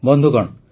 ବନ୍ଧୁଗଣ